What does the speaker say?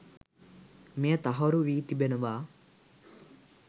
මෙය තහවුරු වී තිබෙනවා.